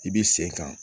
I b'i sen kan